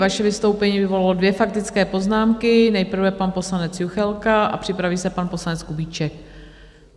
Vaše vystoupení vyvolalo dvě faktické poznámky - nejprve pan poslanec Juchelka a připraví se pan poslanec Kubíček.